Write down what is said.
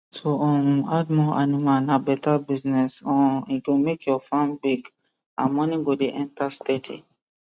to um add more animal na better business um e go make your farm big and money go dey enter steady